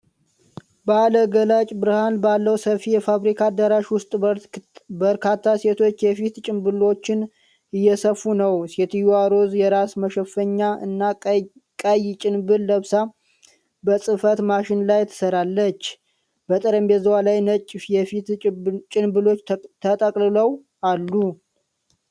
ባለ ገላጭ ብርሃን ባለው ሰፊ የፋብሪካ አዳራሽ ውስጥ በርካታ ሴቶች የፊት ጭንብሎችን እየሰፉ ነው። ሴትየዋ ሮዝ የራስ መሸፈኛ እና ቀይ ጭንብል ለብሳ በጽሕፈት ማሽን ላይ ትሰራለች። በጠረጴዛዋ ላይ ነጭ የፊት ጭንብሎች ተቆልለው አሉ።